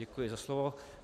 Děkuji za slovo.